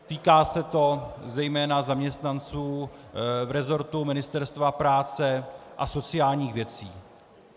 Týká se to zejména zaměstnanců v resortu Ministerstva práce a sociálních věcí.